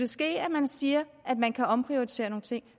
ske at man siger at man kan omprioritere nogle ting